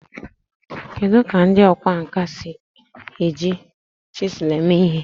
Kedu ka ndị ọkwá nkà si eji chiselu eme ihe?